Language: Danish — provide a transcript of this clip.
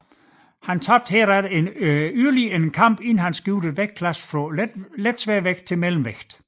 Han tabte herefter yderligere en kamp inden han skiftede vægtlasse fra letsværvægt til mellemvægt